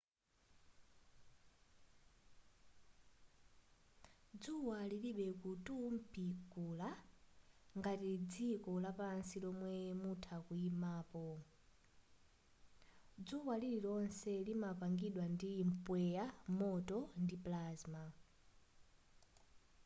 dzuwa lilibe kutumphuka ngati dziko lapansi lomwe mutha kuyimapo dzuwa lonse limapangidwa ndi mpweya moto ndi plasma